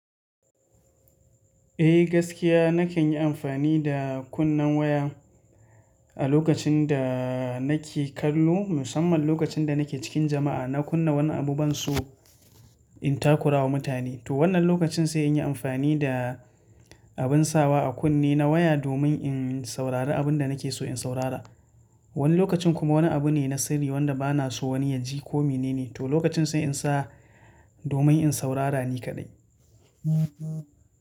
Eh gaskiya na kan yi amfani da kunnen waya a lokacin da nake kallo musamman lokacin da nake cikin jama'a. Na kunna wani abu ban so in takurawa mutane. To wannan lokacin sai in yi amfani da abin sawa a kunne na waya domin in saurari abin da nake so in saurara. Wani lokacin kuma wani abu ne na sirri wanda bana so wani ya ji ko mene ne. To lokacin sai in sa domin in saurara ne kaɗai.